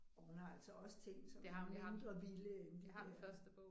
Og hun har altså også ting som er mindre vilde end de der